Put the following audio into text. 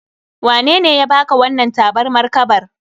Wanene ya baka wannan tabarmar kabar?